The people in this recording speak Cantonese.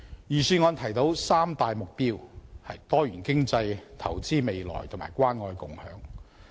預算案提出三大目標：多元經濟、投資未來及關愛共享。